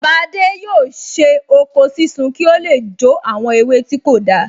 Bàbá adé yóò ṣe oko sísun ki o le jó àwọn ewé tí kò dáa